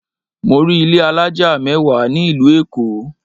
Mọ rí ilé alájà mẹ́wàá ní ìlú Èkó.